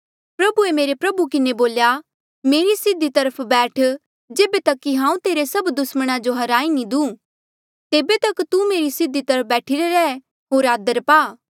प्रभुए मेरे प्रभु किन्हें बोल्या मेरे सीधी तरफ बैठ जेबे तक कि हांऊँ तेरे सभ दुस्मणा जो हराई नी दूं तेबे तक तू मेरी सीधी तरफ बैठिरे रैह होर आदर पा